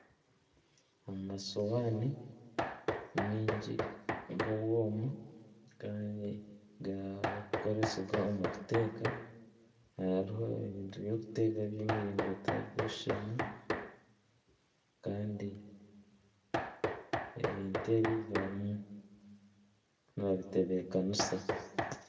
Amasuwaani mingi g'obwoma kandi garikukoresibwa omu kuteeka hariho ebintu by'okuteeka eby'emiringo etarikushushana kandi ebintu ebi barimu nibabitebeekanisa.